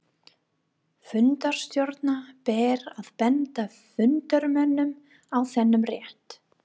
Fundarstjóra ber að benda fundarmönnum á þennan rétt.